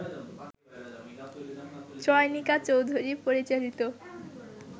চয়নিকা চৌধুরী পরিচালিত